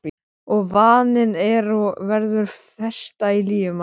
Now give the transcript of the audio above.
Og vaninn er og verður festa í lífi manns.